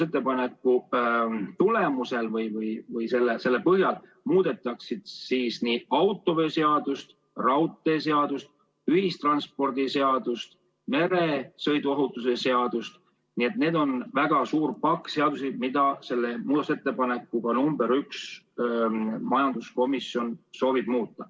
Eelnõu põhjal muudetakse autoveoseadust, raudteeseadust, ühistranspordiseadust ja meresõiduohutuse seadust – nii et on väga suur pakk seadusi, mida selle muudatusettepanekuga nr 1 majanduskomisjon soovib muuta.